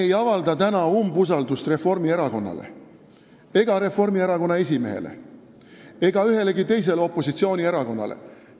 Me ei avalda täna umbusaldust Reformierakonnale ega Reformierakonna esimehele ega ühelegi teisele opositsioonierakonnale.